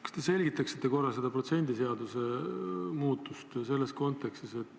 Kas te selgitaksite seda protsendiseaduse muutust?